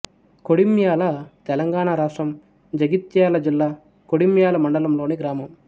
కొడిమ్యాల తెలంగాణ రాష్ట్రం జగిత్యాల జిల్లా కొడిమ్యాల మండలంలోని గ్రామం